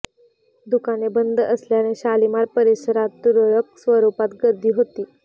दुकाने बंद असल्याने शालिमार परिसरात तुरळक स्वरुपात गर्दी होती